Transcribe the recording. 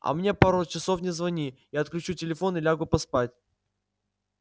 а мне пару часов не звони я отключу телефон и лягу поспать